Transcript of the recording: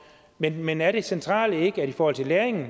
men men er det centrale i forhold til læringen